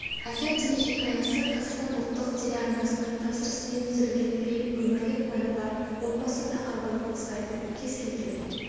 әке телехикаясы қазақстан ұлттық телеарнасының тапсырысымен түсірілген фильм өмірлік мәні бар отбасы тақырыбын қозғайды кез келген